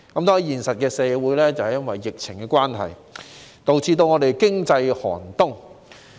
在現實社會裏，由於疫情關係，香港經濟亦出現寒冬。